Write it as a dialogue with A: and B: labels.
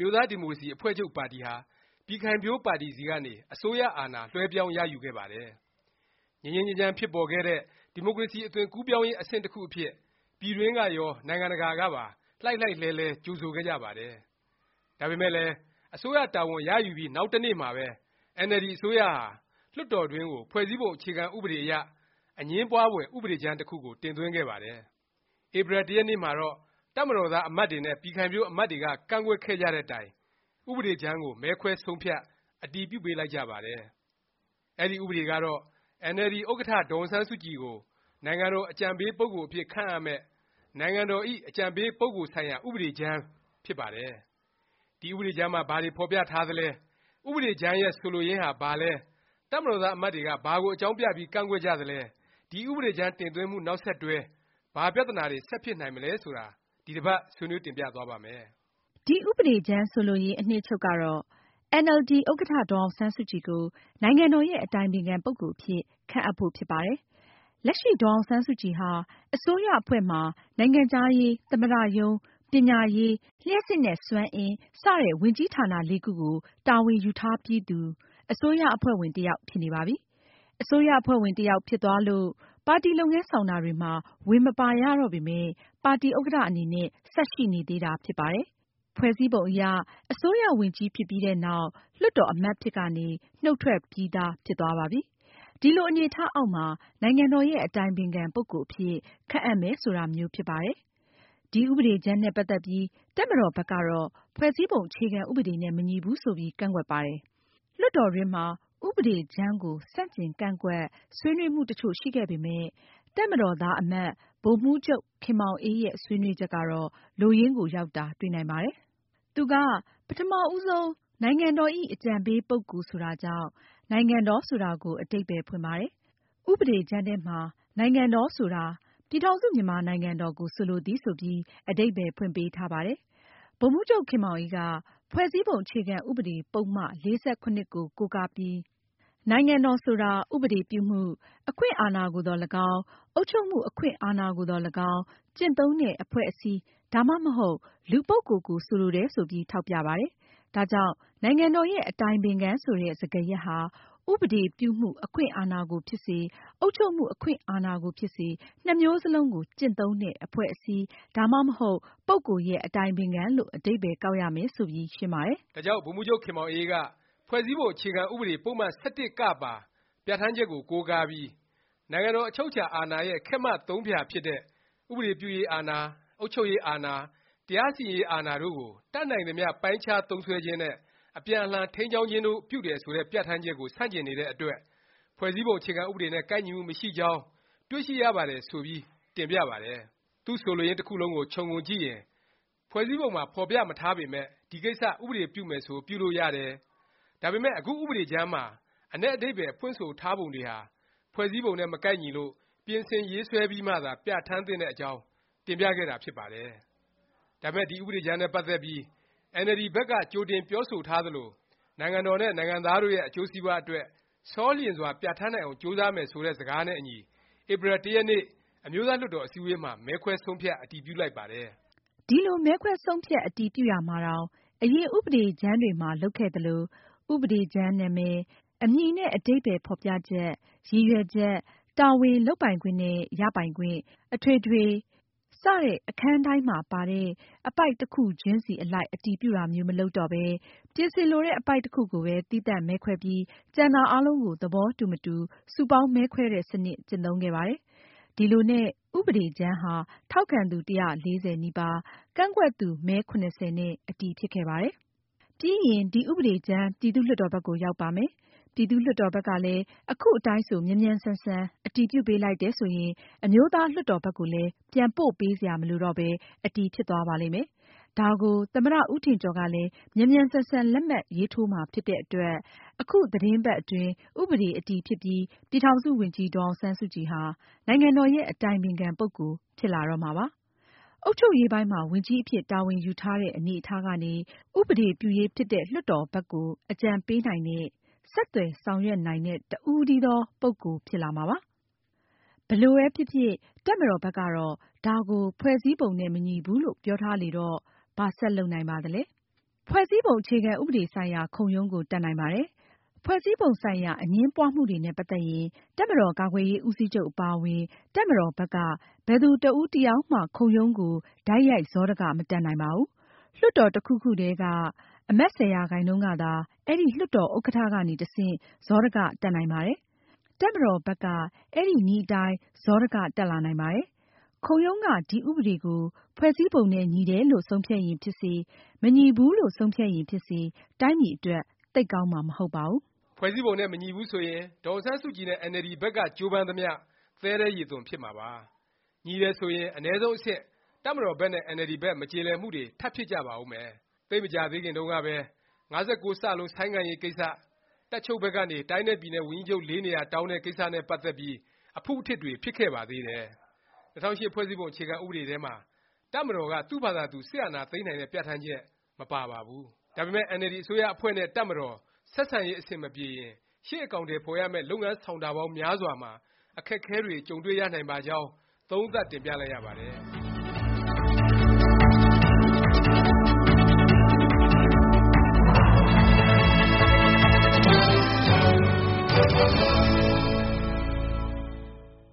A: မျိုးသားဒီမိုကရေစီ အဖွဲ့ချုပ်ပါတီဟာ ပြည်ခိုင်ဖြိုး ပါတီဆီကနေ အစိုးရအာဏာ လွဲှပြောင်းရယူခဲ့ပါတယ်။ ငြိမ်းငြိမ်းချမ်းချမ်း ဖြစ်ပေါ်ခဲ့တဲ့ ဒီမိုကရေစီ အသွင်ကူးပြောင်းရေး အဆင့် တစ်ခုအဖြစ် ပြည်တွင်းကရော ပြည်ပကပါ လှိုက်လှိုက်လှဲလှဲ ကြိုဆိုခဲ့ကြပါတယ်။ ဒါပေမယ့်လည်း အစိုးရ တာဝန်ရယူပြီး နောက်တစ်နေ့မှာပဲ အင်န်အယ်လ်ဒီ အစိုးရဟာ လွှတ်တော်တွင်းကို ဖွဲ့စည်းပုံ အခြေခံ ဥပဒေအရ အငြင်းပွားဖွယ် ဥပဒေကြမ်း တစ်ခုကို တင်သွင်းခဲ့ပါတယ်။ ဧပြီ ၁ ရက်နေ့မှာတော့ တပ်မတော်သား အမတ်တွေနဲ့ ပြည်ခိုင်ဖြိုး အမတ်တွေက ကန့်ကွက်ခဲ့ကြတဲ့တိုင် ဥပဒေကြမ်းကို မဲခွဲဆုံးဖြတ် အတည်ပြုပေးလိုက်ကြပါတယ်။ အဲဒီ ဥပဒေကတော့ အင်န်အယ်လ်ဒီ ဥက္ကဌ ဒေါ်အောင်ဆန်းစုကြည်ကို နိုင်ငံတော် အကြံပေးပုဂ္ဂိုလ်အဖြစ် ခန့်အပ်မယ့် “နိုင်ငံတော်ဇ။် အကြံပေး ပုဂ္ဂိုလ်ဆိုင်ရာ ဥပဒေကြမ်း” ဖြစ်ပါတယ်။ ဒီ ဥပဒေကြမ်းမှာ ဘာတွေ ဖော်ပြထားသလဲ၊ ဥပဒေကြမ်းရဲ့ ဆိုလိုရင်းဟာ ဘာလဲ၊ တပ်မတော်သား အမတ်တွေက ဘာကို အကြောင်းပြပြီး ကန့်ကွက်ကြသလဲ၊ ဒီ ဥပဒေကြမ်း တင်သွင်းမှု နောက်ဆက်တွဲ ဘာပြသနာတွေ ဆက်ဖြစ်လာနိုင်မလဲ ဆိုတာ ဒီတစ်ပါတ် ဆွေးနွေး တင်ပြသွားပါ့မယ်
B: ။ ဥပဒေကြမ်း ဆိုလိုရင်း အနှစ်ချုပ်ကတော့ အင်န်အယ်လ်ဒီ ဥက္ကဌ ဒေါ်အောင်ဆန်းစုကြည် ကို နိုင်ငံတော်ရဲ့ အတိုင်ပင်ခံ ပုဂ္ဂိုလ်အဖြစ် ခန့်အပ်ဖို့ ဖြစ်ပါတယ်။ လက်ရှိ ဒေါ်အောင်ဆန်းစုကြည်ဟာ အစိုးရအဖွဲ့မှာ နိုင်ငံခြားရေး၊ သမ္မတရုံး၊ ပညာရေး၊ လျှပ်စစ်နဲ့ စွမ်းအင် ဝန်ကြီးဌာန လေးခုကို တာဝန်ယူထားပြီးသူ အစိုးရအဖွဲ့ဝင် တစ်ယောက် ဖြစ်နေပါပြီ။ အစိုးရအဖွဲ့ဝင်တစ်ယောက် ဖြစ်သွားလို့ ပါတီလုပ်ငန်းဆောင်တာတွေမှာ ဝင် မပါရတော့ပေမယ့် ပါတီဥက္ကဌ အနေနဲ့ ဆက်ရှိနေသေးတာ ဖြစ်ပါတယ်။ ဖွဲ့စည်းပုံအရ အစိုးရဝန်ကြီးဖြစ်ပြီးနောက် လွှတ်တော် အမတ်အဖြစ်ကနေလည်း နှုတ်ထွက်ပြီးသား ဖြစ်သွားပါပြီ။ ဒီလို အနေအထားအောက်မှာ နိုင်ငံတော်ရဲ့ အတိုင်ပင်ခံ ပုဂ္ဂိုလ် အဖြစ် ခန့်အပ်မယ် ဆိုတာမျိုး ဖြစ်ပါတယ်။ ဒီဥပဒေကြမ်းနဲ့ ပတ်သက်ပြီး တပ်မတော်ဘက်ကတော့ ဖွဲ့စည်းပုံ အခြေခံဥပဒေနဲ့ မညီဘူး ဆိုပြီး ကန့်ကွက်ပါတယ်။ လွှတ်တော်တွင်းမှာ ဥပဒေကြမ်းကို ဆန့်ကျင်ကန့်ကွက် ဆွေးနွေးမှု တစ်ချို့ရှိခဲ့ပေမယ့် တပ်မတော်သား အမတ် ဗိုလ်မှူးချုပ် ခင်မောင်အေး ရဲ့ ဆွေးနွေးချက်ကတော့ လိုရင်းကို ရောက်တာ တွေ့နိုင်ပါတယ်။ သူက ပထမ ဦးဆုံး နိုင်ငံတော်ဇ။် အကြံပေး ပုဂ္ဂိုလ် ဆိုတာကြောင့် “နိုင်ငံတော်” ဆိုတာကို အဓိပ္ပါယ် ဖွင့်ပါတယ်။ ဥပဒေကြမ်းထဲမှာ “နိုင်ငံတော် ဆိုတာ ပြည်ထောင်စု မြန်မာနိုင်ငံတော် ကို ဆိုလိုသည်” ဆိုပြီး အဓိပ္ပါယ်ဖွင့်ပေးထားပါတယ်။ ဗိုလ်မှူးချုပ် ခင်မောင်အေးက ဖွဲ့စည်းပုံ အခြေခံဥပဒေ ပုဒ်မ ၄၇ ကို ကိုးကားပြီး နိုင်ငံတော် ဆိုတာ ဥပဒေပြုမှု အခွင့်အာဏာကိုသော်လည်းကောင်း၊ အုပ်ချုပ်မှု အခွင့်အာဏာကိုသော် လည်းကောင်း ကျင့်သုံးတဲ့ အဖွဲ့အစည်း ဒါမှမဟုတ် လူပုဂ္ဂိုလ်ကို ဆိုလိုတယ် ဆိုပြီး ထောက်ပြပါတယ်။ ဒါကြောင့် နိုင်ငံတော်ရဲ့ အတိုင်ပင်ခံ ဆိုတဲ့ စကားရပ်ဟာ ဥပဒေပြုမှု အခွင့်အာဏာကိုဖြစ်စေ၊ အုပ်ချုပ်မှု အခွင့်အာဏာ ကိုဖြစ်စေ နှစ်မျိုးစ လုံးကို ကျင့်သုံးတဲ့ အဖွဲ့အစည်း ဒါမှမဟုတ် ပုဂ္ဂိုလ်ရဲ့ အတိုင်ပင်ခံ လို့ အဓိပ္ပါယ်ကောက်ရမယ် ဆိုပြီး ရှင်းပြပါတယ်
A: ။ ဒါကြောင့် ဗိုလ်မှူးချုပ် ခင်မောင်အေးက ဖွဲ့စည်းပုံ အခြေခံဥပဒေ ပုဒ်မ ၁၁ (က) ပါ ပြဌာန်းချက်ကို ကိုးကားပြီး နိုင်ငံတော် အချုပ်အခြာ အာဏာရဲ့ ခက်မ သုံးဖြာ ဖြစ်တဲ့ ဥပဒေပြုရေးအာဏာ၊ အုပ်ချုပ်ရေးအာဏာ၊ တရားစီရင်ရေး အာဏာ တို့ကို တတ်နိုင်သမျှ ပိုင်းခြားသုံးစွဲခြင်းနဲ့ အပြန်အလှန် ထိန်းကျောင်းခြင်းတို့ ပြုတယ် ဆိုတဲ့ ပြဌာန်းချက်ကို ဆန့်ကျင်နေတဲ့အတွက် ဖွဲ့စည်းပုံ အခြေခံဥပဒေနဲ့ ကိုက်ညီမှု မရှိကြောင်း တွေ့ရှိရပါတယ် ဆိုပြီး တင်ပြပါတယ်။ သူ့ဆိုလိုရင်း တစ်ခုလုံးကို ခြုံငုံကြည့်ရင် ဖွဲ့စည်းပုံမှာ ဖော်ပြမထားပေမယ့် ဒီကိစ္စ ဥပဒေပြုမယ် ဆို ပြုလို့ရတယ်၊ ဒါပေမယ့် အခု ဥပဒေကြမ်းမှာ အနက်အဓိပ္ပါယ် ဖွင့်ဆိုထားပုံတွေဟာ ဖွဲ့စည်းပုံနဲ့ မကိုက်ညီလို့ ပြင်ဆင်ရေး ဆွဲပြီးမှ သာ ပြဌာန်းသင့်တဲ့အကြောင်း တင်ပြခဲ့တာ ဖြစ်ပါတယ်။ ဒါပေမယ့် ဒီ ဥပဒေကြမ်းနဲ့ ပတ်သက်ပြီး အင်န်အယ်လ်ဒီ ဘက်က ကြိုတင် ပြောဆိုထား သလို နိုင်ငံတော်နဲ့ နိုင်ငံသားတို့ရဲ့ အကျိုးစီးပွားအတွက် ဆောလျင် စွာ ပြဌာန်းနိုင်အောင် ကြိုးစားမယ် ဆိုတဲ့ စကားနဲ့အညီ ဧပြီလ ၁ ရက်နေ့ အမျိုးသား လွှတ်တော် အစည်းအဝေးမှာ မဲခွဲဆုံးဖြတ် အတည်ပြုလိုက်ပါတယ်
B: ။ ဒီလို မဲခွဲဆုံးဖြတ် အတည်ပြုရာမှာတောင် အရင် ဥပဒေကြမ်းတွေမှာ လုပ်ခဲ့သလို၊ ဥပဒေကြမ်းနာမည်၊ အမည်နဲ့ အဓိပ္ပါယ် ဖော်ပြချက်၊ ရည်ရွယ်ချက်၊ တာဝန်၊ လုပ်ပိုင်ခွင့်နဲ့ ရပိုင်ခွင့်၊ အထွေထွေ အခန်းတိုင်းမှာပါတဲ့ အပိုဒ် တစ်ခုချင်းစီ အလိုက် အတည်ပြုတာမျိုး မလုပ်တော့ပဲ၊ ပြင်ဆင်လိုတဲ့ အပိုဒ် တစ်ခုကိုပဲ သီးသန့် မဲခွဲပြီး၊ ကျန်တာအားလုံးကို သဘောတူ မတူ စုပေါင်း မဲခွဲတဲ့ စနစ် ကျင့်သုံးခဲ့ပါတယ်။ ဒီလိုနဲ့ ဥပဒေကြမ်းဟာ ထောက်ခံသူ ၁၄၀ နီးပါး၊ ကန့်ကွက်သူ မဲ ၇၀ နဲ့ အတည်ဖြစ်ခဲ့ ပါတယ်။ ပြီးရင် ဒီ ဥပဒေကြမ်း ပြည်သူ့လွှတ်တော် ဘက်ကို ရောက်ပါ မယ်။ ပြည်သူ့လွှတ်တော်ဘက်ကလည်း အခု အတိုင်းဆို မြန်မြန်ဆန်ဆန် အတည်ပြုပေးလိုက်တယ် ဆိုရင် အမျိုးသားလွှတ်တော်ဘက်ကိုလည်း ပြန် ပို့ပေးစရာ မလိုတော့ပဲ အတည်ဖြစ်သွားပါလိမ့်မယ်။ ဒါကို သမ္မတ ဦးထင်ကျော်က လည်း မြန်မြန်ဆန်ဆန် လက်မှတ်ထိုးပေးမှာ ဖြစ်တဲ့အတွက် အခုသီတင်းပတ် အတွင်း ဥပဒေ အတည်ဖြစ်ပြီး ပြည်ထောင်စု ဝန်ကြီး ဒေါ်အောင်ဆန်းစုကြည် ဟာ နိုင်ငံတော်ရဲ့ အတိုင်ပင်ခံ ပုဂ္ဂိုလ် ဖြစ်လာတော့မှာပါ။ အုပ်ချုပ်ရေးပိုင်းမှာ ဝန်ကြီးအဖြစ် တာဝန်ယူထားတဲ့ အနေအထားကနေ ဥပဒေပြုရေး ဖြစ်တဲ့ လွှတ်တော်ဘက်ကို အကြံပေးနိုင်တဲ့၊ ဆက်သွယ်ဆောင်ရွက် နိုင်တဲ့ တစ်ဦးတည်းသော ပုဂ္ဂိုလ် ဖြစ်လာမှာပါ။ ဘယ်လိုပဲဖြစ်ဖြစ် တပ်မတော်ဘက်ကတော့ ဒါကို ဖွဲ့စည်းပုံနဲ့ မညီဘူးလို့ ပြော ထားလေတော့ ဘာဆက်လုပ်နိုင်ပါသလဲ။ ဖွဲ့စည်းပုံ အခြေခံဥပဒေ ဆိုင်ရာ ခုံရုံးကို တက်နိုင်ပါတယ်။ ဖွဲ့စည်းပုံဆိုင်ရာ အငြင်းပွားမှုတွေနဲ့ ပတ်သက်ရင် တပ်မတော် ကာကွယ်ရေး ဦးစီးချုပ် အပါအဝင် တပ်မတော်ဘက်က ဘယ်သူ တစ်ဦး တစ်ယောက်မှ ခုံရုံးကို တိုက်ရိုက် စောဒက မတက်နိုင်ပါဘူး။ လွှတ်တော် တစ်ခုခုထဲက အမတ် ၁၀ ရာခိုင်နှုန်းကသာ အဲဒီ လွှတ်တော်ဥက္ကဌကနေ တ ဆင့် စောဒက တက်နိုင်ပါတယ်။ တပ်မတော်ဘက်က အဲဒီနည်းအတိုင်း စောဒ က တက်လာနိုင်ပါတယ်။ ခုံရုံးက ဒီဥပဒေကို ဖွဲ့စည်းပုံနဲ့ ညီတယ်လို့ ဆုံးဖြတ် ရင် ဖြစ်စေ၊ မညီဘူးလို့ ဆုံးဖြတ်ရင် ဖြစ်စေ တိုင်းပြည်အတွက် သိပ်ကောင်းမှာ မဟုတ်ပါဘူး
A: ။ ဖွဲ့စည်းပုံနဲ့ မညီဘူး ဆိုရင် ဒေါ်အောင်ဆန်းစုကြည်နဲ့ အင်န်အယ်လ်ဒီ ဘက်က ကြိုးပမ်းသမျှ သဲထဲရေသွန် ဖြစ်မှာပါ။ ညီတယ် ဆိုရင် အနည်းဆုံးအဆင့် တပ်မတော်ဘက်နဲ့ အင်န်အယ်လ်ဒီဘက် မကျေလည်မှုတွေ ထပ်ဖြစ်ကြပါဦးမယ်။ သိပ်မကြာသေးခင်တုန်းကပဲ ၅၉(စ) ဆိုင်းငံ့ရေးကိစ္စ၊ တပ်ချုပ်ဘက်ကနေ တိုင်းနဲ့ ပြည်နယ် ဝန်ကြီးချုပ် (၄) နေရာ တောင်းတဲ့ ကိစ္စ နဲ့ ပတ်သက်ပြီး အဖုအထစ်တွေ ဖြစ်ခဲ့ပါသေးတယ်။ ၂၀၀၈ ဖွဲ့စည်းပုံ အခြေခံဥပဒေထဲမှာ တပ်မတော်က သူ့ဖာသာသူ စစ်အာဏာသိမ်းနိုင်တဲ့ ပြဌာန်းချက် မပါပါဘူး။ ဒါပေမယ့် အင်န်အယ်လ်ဒီ အစိုးရအဖွဲ့နဲ့ တပ်မတော် ဆက်ဆံရေး အဆင်မပြေရင် ရှေ့ အကောင်အထည် ဖော်ရမယ့် လုပ်ငန်းဆောင်တာပေါင်း များစွာမှာ အခက်အခဲတွေ ကြုံတွေ့ရနိုင်ပါကြောင်း သုံးသပ်တင်ပြလိုက်ရပါတယ်။